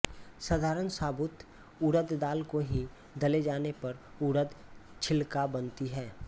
साधारण साबुत उड़द दाल को ही दले जाने पर उड़द छिलका बनती है